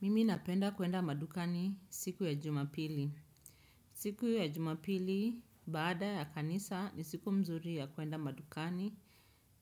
Mimi napenda kuenda madukani siku ya jumapili. Siku ya jumapili baada ya kanisa ni siku mzuri ya kuenda madukani